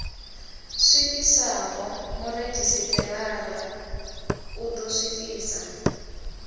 swikiswaho muredzhisitarara u ḓo swikisa